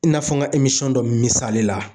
I n'a fɔ n ka dɔ misali la.